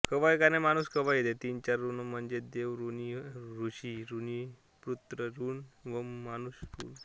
ती चार ऋणे म्हणजे देव ऋण ऋषी ऋणपितृ ऋण व मनुष्य ऋण